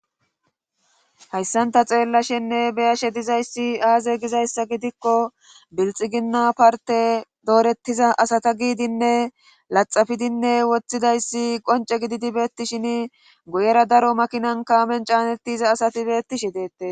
hayssanta xeellashenne beyashe dizayssi aaze gizayssa gidikko bilxiginna parte doorettiza asata giidinne laxafidinne woththidayssi qonce gididi beetti shin guyera daro makinan kaamen caanettiza asati beettishi deettes